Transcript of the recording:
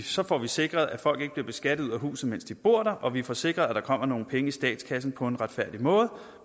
så får vi sikret at folk ikke bliver beskattet ud af huset mens de bor der og vi får sikret at der kommer nogle penge i statskassen på en retfærdig måde